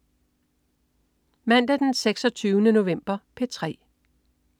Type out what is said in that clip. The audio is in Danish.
Mandag den 26. november - P3: